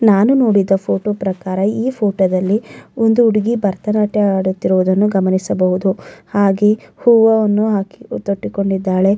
ನಾನು ನೋಡಿದ ಫೋಟೋ ಪ್ರಕಾರ ಈ ಫೋಟೋದಲ್ಲಿ ಒಂದು ಹುಡುಗಿ ಭರತನಾಟ್ಯ ಆಡುತ್ತಿರುವುದನ್ನು ಗಮನಿಸಬಹುದು ಹಾಗೆ ಹೂವವನ್ನು ಹಾಕಿ ತೊಟ್ಟಿ ಕೊಂಡಿದ್ದಾಳೆ.